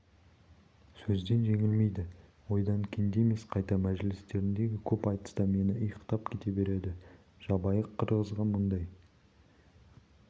сөзден жеңілмейді ойдан кенде емес қайта мәжілістеріндегі көп айтыста мені иықтап кете береді жабайы қырғызға мұндай